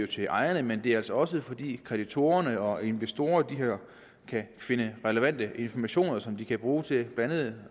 til ejerne men det er altså også fordi kreditorerne og investorerne kan finde relevante informationer som de kan bruge til blandt andet